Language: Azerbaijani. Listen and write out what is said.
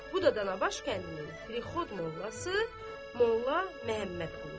Bu da Danabaş kəndinin prixod mollası Molla Məmmədquludur.